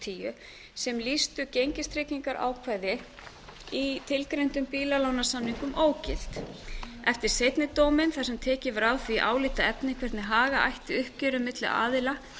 tvö þúsund og tíu sem lýstu gengistryggingarákvæði í tilgreindum bílalánasamningum ógild eftir seinni dóminn þar sem tekið var á því álitaefni hvernig haga ætti uppgjöri milli aðila